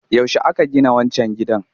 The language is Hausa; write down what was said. Yaushe aka gina wancan gidan?